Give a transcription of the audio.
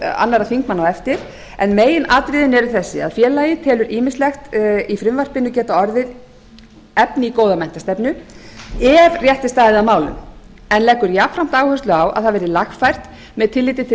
ræðum annarra þingmanna á eftir en meginatriðin eru þessi að falið telur ýmislegt í frumvarpinu geta orðið efni í góða menntastefnu ef rétt er staðið að málum en leggur jafnframt áherslu á að það verði lagfært með tilliti til